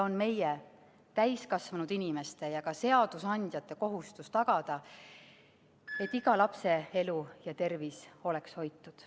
On meie, täiskasvanud inimeste ja ka seadusandjate kohustus tagada, et iga lapse elu ja tervis oleks hoitud.